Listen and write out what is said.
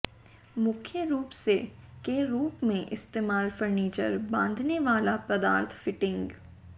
मुख्य रूप से के रूप में इस्तेमाल फर्नीचर बांधनेवाला पदार्थ फिटिंग